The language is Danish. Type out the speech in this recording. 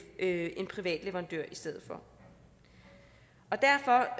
en privat leverandør i stedet derfor